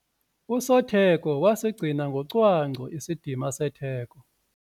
Usotheko wasigcina ngocwangco isidima setheko.